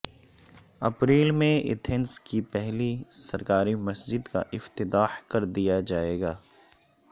April میں Athens کی پہلی سرکاری مسجد کا افتتاح کردیاجائے گا